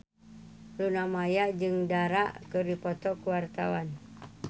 Luna Maya jeung Dara keur dipoto ku wartawan